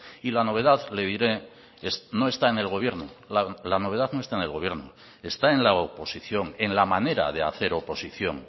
y la novedad le diré no está en el gobierno la novedad no está en el gobierno está en la oposición en la manera de hacer oposición